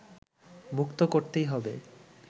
মুক্ত করতেই হবে